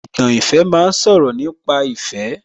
Ìtàn ìfẹ́ ma ń sọ̀rọ̀ nípa ìfẹ́